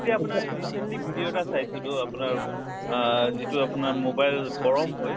এতিয়া আপোনাৰ recently video এটা চাইছো দʼ আপোনাৰ আহ যিটো আপোনাৰ mobile গৰম হৈ